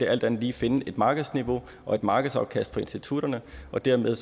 alt andet lige finde et markedsniveau og et markedsafkast for institutterne og dermed